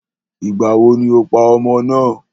Ìgbàwo ni o pa ọmọ náà?